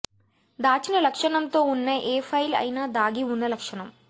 దాచిన లక్షణంతో ఉన్న ఏ ఫైల్ అయినా దాగి ఉన్న లక్షణం